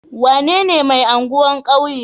Wanene mai anguwan kauye?